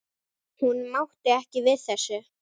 Hún mátti ekki við þessu.